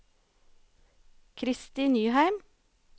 Kristi Nyheim